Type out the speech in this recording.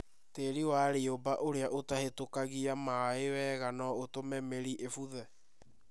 Tĩĩri wa riũmba ũria ũtahĩtũkagia na maĩ wega no ũtũme mĩri ĩbuthe.